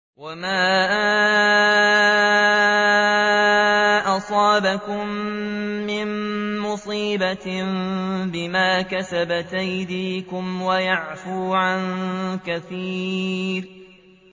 وَمَا أَصَابَكُم مِّن مُّصِيبَةٍ فَبِمَا كَسَبَتْ أَيْدِيكُمْ وَيَعْفُو عَن كَثِيرٍ